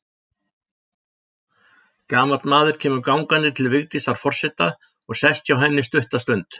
Gamall maður kemur gangandi til Vigdísar forseta og sest hjá henni stutta stund.